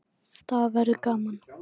Það verður gaman.